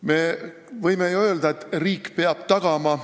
Me võime ju öelda, et riik peab tagama.